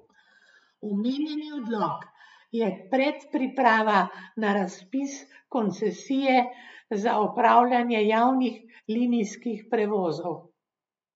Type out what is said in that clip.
Omenjeni odlok je predpriprava na razpis koncesije za opravljanje javnih linijskih prevozov.